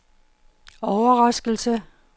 overraskelse